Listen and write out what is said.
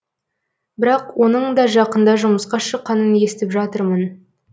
бірақ оның да жақында жұмысқа шыққанын естіп жатырмын